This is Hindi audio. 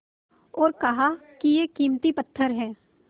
और कहा कि यह कीमती पत्थर है